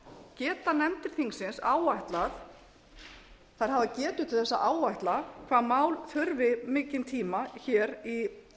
geta nefndir þingsins áætlað þær hafa getu til þess að áætla hvað mál þurfi mikinn tíma hér í